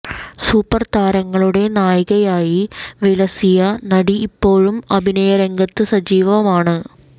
super താരങ്ങളുടെ നായികയായി വിലസിയ നടി ഇപ്പോഴും അഭിനയ രംഗത്ത് സജീവമാണ്